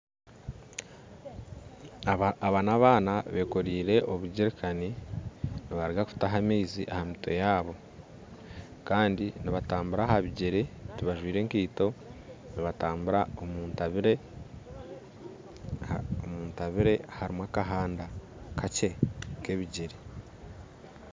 Aba n'abaana bekoraire obujeerikani nibaruga kutaha amaizi aha mitwe yaabo kandi nibatambura aha bigyere tibajwire nkaito nibatambura omuntabire, omuntabire harimu akahanda kakye nk'ebigyere